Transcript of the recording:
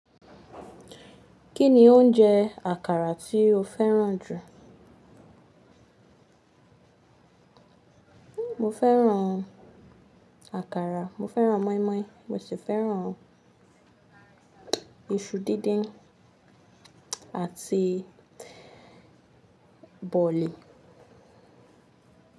Kí ni oúnjẹ àkàrà tí o fẹ́ràn jù? Mo fẹ́ràn àkàrà, mo fẹ́ràn moinmoin, mo sì fẹ́ràn iṣu díndín àti bọ̀lì.